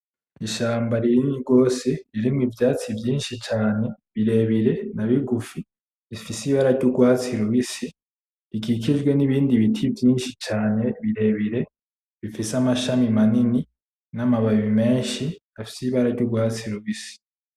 Ishamba rinini gose ririmwo ivyatsi vyinshi cane birebire na bigufi, ifise ibara ry'urwatsi rubisi ikikijwe nibindi biti vyinshi cane birebire. Bifise amashami manini namababi menshi afise ibara ry'urwatsi rubisi.